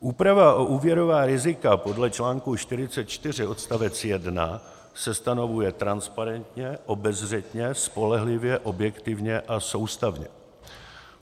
Úprava o úvěrová rizika podle článku 44 odst. 1 se stanovuje transparentně, obezřetně, spolehlivě, objektivně a soustavně.